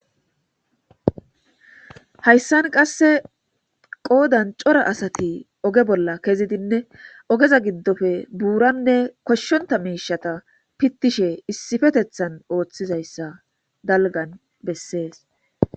hayssan qasse qoodan cora asati oge bolla kezidinne ogeza giddofe buuranne koshshonta miishata pittishe issifetethan ooththizayssa dalgan bessees